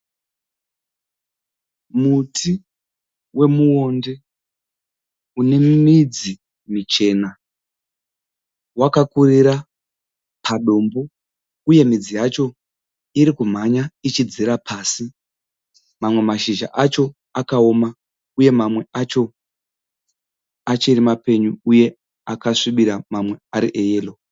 Muti wemuonde une midzi michena. Wakakurira padombo uye midzi yacho iri kumhanya ichidzira pasi. Mamwe mashizha acho akaoma uye mamwe acho achiri mapenyu uye akasvibira mamwe ari eyero.